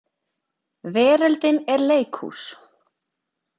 Veröldin er leikhús.